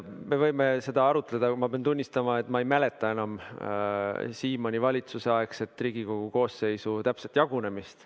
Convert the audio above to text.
Me võime seda arutada, aga ma pean tunnistama, et ma ei mäleta enam Siimanni valitsuse aegset Riigikogu koosseisu täpset jagunemist.